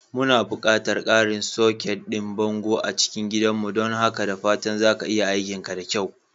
Muna buƙatar ƙarin soket ɗin bango a cikin gidan don haka da fatan za ka yi aikinka da kyau.